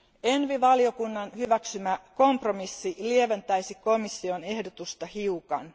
ENVI valiokunnan hyväksymä kompromissi lieventäisi komission ehdotusta hiukan.